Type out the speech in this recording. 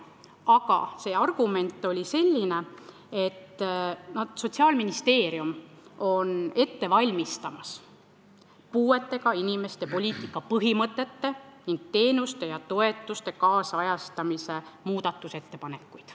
Aga argument oli selline, et Sotsiaalministeerium valmistab ette ettepanekuid puudega inimeste poliitika põhimõtete ning teenuste ja toetuste nüüdisajastamise kohta.